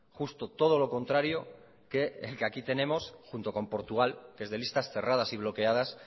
justo todo lo contrario que el que aquí tenemos junto con portugal que es de listas cerradas y bloqueadas